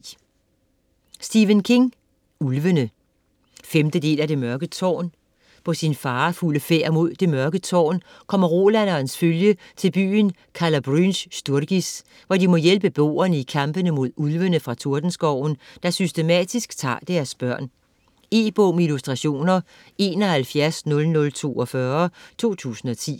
King, Stephen: Ulvene 5. del af Det mørke tårn. På sin farefulde færd mod Det Mørke Tårn kommer Roland og hans følge til byen Calla Bryn Sturgis, hvor de må hjælpe beboerne i kampen mod Ulvene fra Tordenskoven, der systematisk tager deres børn. E-bog med illustrationer 710042 2010.